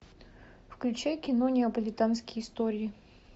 включай кино неаполитанские истории